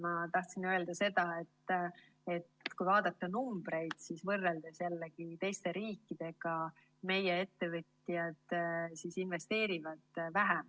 Ma tahtsin öelda seda, et kui vaadata numbreid, siis võrreldes jällegi teiste riikidega investeerivad meie ettevõtjad vähe.